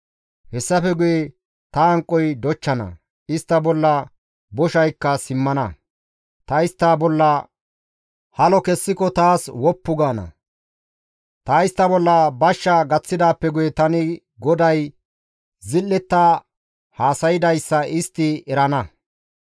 «Hessafe guye ta hanqoy dochchana; istta bolla boshaykka simmana; ta istta bolla halo kessiko taas woppu gaana; ta istta bolla bashsha gaththidaappe guye tani GODAY zil7etta haasaydayssa istti erana.